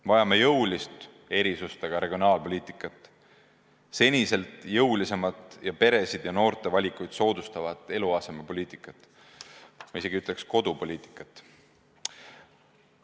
Me vajame jõuliste erisustega regionaalpoliitikat, senisest jõulisemat ja peresid ja noorte valikuid soodustavat eluasemepoliitikat, ma isegi ütleks, kodupoliitikat.